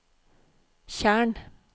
tjern